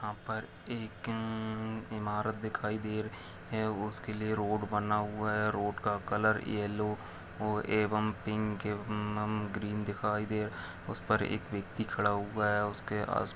यहाँ पर एक अअअ इमारत दिखाई दे रही है उसके लिए रोड बना हुआ है रोड का कलर यलो और एवं पिक एवं ग्रीन दिखाई दे उस पर एक व्यक्ति खड़ा हुआ है उसके आस--